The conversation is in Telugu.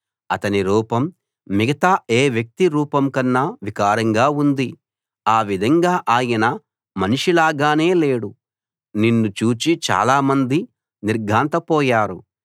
అతని రూపం మిగతా ఏ వ్యక్తి రూపం కన్నా వికారంగా ఉంది ఆ విధంగా ఆయన మనిషిలాగానే లేడు నిన్ను చూచి చాలామంది నిర్ఘాంతపోయారు